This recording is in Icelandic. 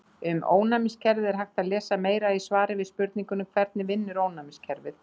Um ónæmiskerfið er hægt að lesa meira í svari við spurningunni Hvernig vinnur ónæmiskerfið?